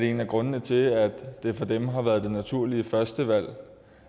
en af grundene til at det for dem har været det naturlige førstevalg